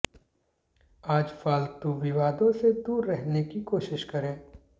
आज फालतू विवादों से दूर रहने की कोशिश करें